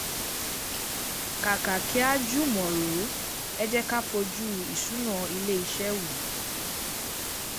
Kàkà kí a jùmọ̀ rò, ẹ jé ká fojú ìṣúná ilé iṣẹ́ wò.